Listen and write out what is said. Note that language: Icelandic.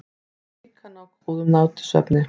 Og líka ná góðum nætursvefni.